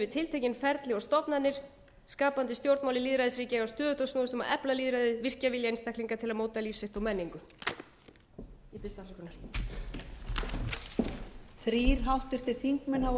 tiltekin ferli og stofnanir skapandi stjórnmál í lýðræðisríki eiga stöðugt að snúast um að efla lýðræðið virkja vilja einstaklinga til að móta líf sitt og menningu ég biðst afsökunar